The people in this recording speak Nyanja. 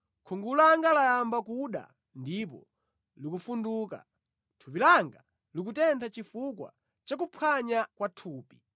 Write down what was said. Khungu langa layamba kuda ndipo likufunduka; thupi langa likutentha chifukwa cha kuphwanya kwa thupi.